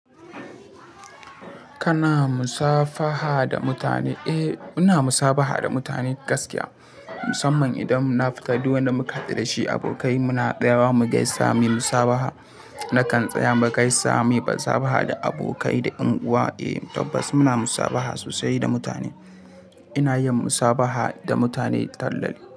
Kana musafaha da mutane? Eh, muna musabaha da mutane gaskiya musamman idan na fita duk wanda muka haɗu da shi abokai mu na sayawa mugaisa musabaha nakan tsaya mugaisa musabaha da abokai da yan uwa. Eh tabbas muna musabaha sosai da mutane. Ina yin musabaha da mutane tallali.